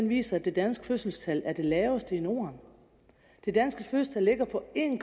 viser at det danske fødselstal er det laveste i norden det danske fødselstal ligger på en